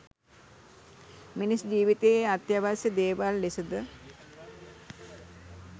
මිනිස් ජීවිතයේ අත්‍යවශ්‍ය දේවල් ලෙස ද